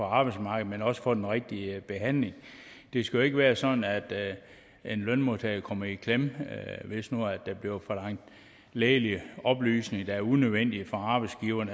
arbejdsmarkedet men også få den rigtige behandling det skal jo ikke være sådan at en lønmodtager kommer i klemme hvis nu der bliver forlangt lægelige oplysninger der er unødvendige for arbejdsgiveren